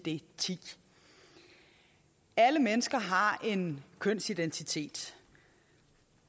icd ti alle mennesker har en kønsidentitet